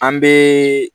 An bɛ